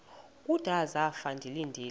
kudala zafa ndilinde